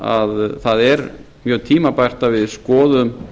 að það er mjög tímabært að við skoðum